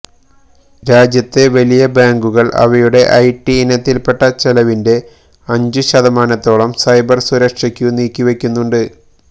രാജ്യത്തെ വലിയ ബാങ്കുകൾ അവയുടെ ഐടി ഇനത്തിൽപ്പെട്ട ചെലവിന്റെ അഞ്ചു ശതമാനത്തോളം സൈബർ സുരക്ഷയ്ക്കു നീക്കിവയ്ക്കുന്നുണ്ട്